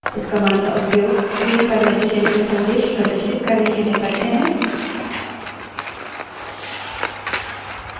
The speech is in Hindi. इस command का उपयोग screen पर message यानि कोई संदेश प्रदर्शित करने के लिए करते हैं